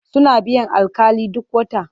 Suna biyan alƙali duk wata.